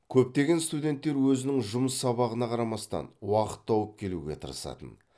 көптеген студенттер өзінің жұмыс сабағына қарамастан уақыт тауып келуге тырысатын